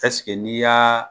Ɛseke n'i y'a